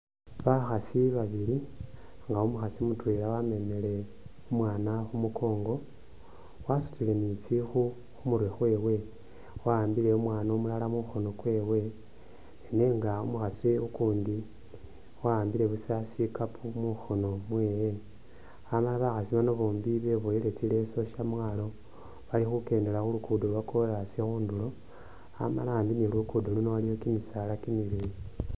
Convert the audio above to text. Bakhasi babili nga umukhasi mutwela wamemile umwana khumungongo, wasutile ni tsikhu khumurwe khwewe, wa'ambile umwana umulala mukhono kwewe nenga umukhasi ukundi wa'ambile buusa sikampo mukhono mwewe, Amala bakhasi baano bombi beboyile tsileeso shamwalo balikhukendela khulukuddo lwa'chorus khudulo Amala ambi ni khulukuddo luno waliwo kimisaala kimileyi